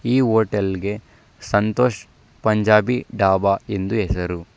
ಈ ಹೋಟೆಲ್ಗೆ ಸಂತೋಷ್ ಪಂಜಾಬಿ ಡಾಬಾ ಎಂದು ಹೆಸರು--